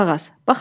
Qulaq as.